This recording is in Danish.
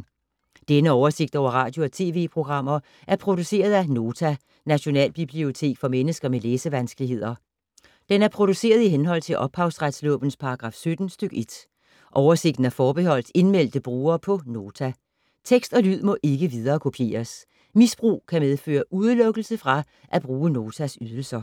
Denne oversigt over radio og TV-programmer er produceret af Nota, Nationalbibliotek for mennesker med læsevanskeligheder. Den er produceret i henhold til ophavsretslovens paragraf 17 stk. 1. Oversigten er forbeholdt indmeldte brugere på Nota. Tekst og lyd må ikke viderekopieres. Misbrug kan medføre udelukkelse fra at bruge Notas ydelser.